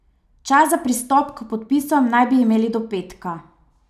Čas za pristop k podpisom naj bi imeli do petka.